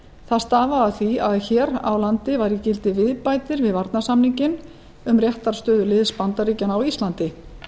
það stafaði af því að hér á landi var í gildi viðbætur við varnarsamninginn um réttarstöðu liðs bandaríkjanna á íslandi